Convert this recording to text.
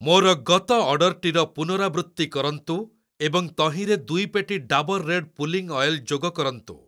ମୋର ଗତ ଅର୍ଡ଼ର୍‌ଟିର ପୁନରାବୃତ୍ତି କରନ୍ତୁ ଏବଂ ତହିଁରେ ଦୁଇ ପେଟି ଡାବର୍‌ ରେଡ଼୍ ପୁଲିଂ ଅଏଲ୍‌ ଯୋଗ କରନ୍ତୁ।